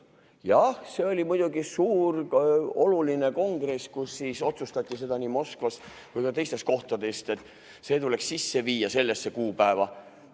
Jah, see oli muidugi suur oluline kongress, kus siis otsustati seda nii Moskvas kui ka teistes kohtades, et see tuleks sellel kuupäeval sisse viia.